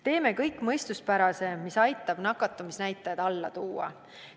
Teeme kõik mõistuspärase, mis aitab nakatumisnäitajad alla tuua.